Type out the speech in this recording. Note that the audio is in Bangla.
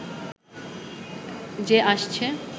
যে আসছে